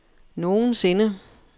nogensinde